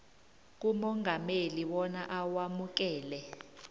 kumongameli bona awamukele